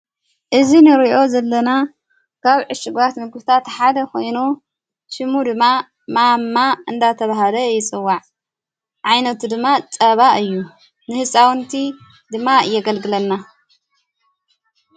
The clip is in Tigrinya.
እዝ ንርእዮ ዘለና ካብ ዕሽጓት ንጉሥታ ተሓደ ኾይኖ ሽሙ ድማ ማማ እንዳተብሃደ ይፅዋዕ ዓይነቱ ድማ ፀባ እዩ ንሕፃወንቲ ድማ የገልግለና።